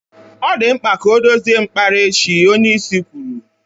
Ọ dị mkpa ka ọ dozie mkpara echi, onyeisi kwuru.